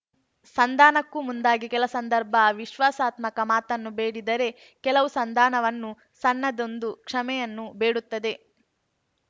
ಸಂಧಾನಕ್ಕೂ ಮುಂದಾಗಿ ಕೆಲ ಸಂದರ್ಭ ವಿಶ್ವಾಸಾತ್ಮಕ ಮಾತನ್ನು ಬೇಡಿದರೆ ಕೆಲವು ಸಂಧಾನವನ್ನೂ ಸಣ್ಣದೊಂದು ಕ್ಷಮೆಯನ್ನೂ ಬೇಡುತ್ತದೆ